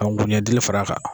ka nkunjɛdili fara a kan.